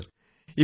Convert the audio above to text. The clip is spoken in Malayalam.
നന്ദി സർ